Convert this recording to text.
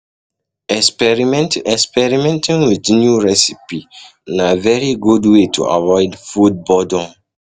Experimenting Experimenting with new recipe na very good way to avoid food boredom